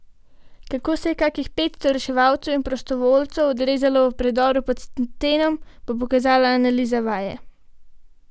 Kako se je kakih petsto reševalcev in drugih prostovoljcev odrezalo v predoru pod Stenom, bo pokazala analiza vaje.